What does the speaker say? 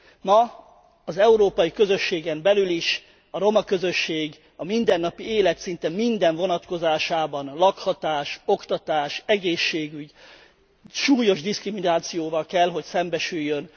Ma, az európai közösségen belül is a roma közösség a mindennapi élet szinte minden vonatkozásában lakhatás, oktatás, egészségügy súlyos diszkriminációval kell szembesüljön.